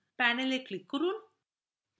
panel এ click করুন